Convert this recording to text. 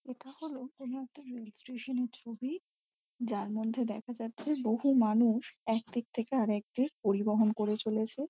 এটা হলো কোনো একটা রেল স্টেশন -এর ছবি। যার মধ্যে দেখা যাচ্ছে বহু মানুষ একদিক থেকে আর একদিক পরিবহন করে চলেছে।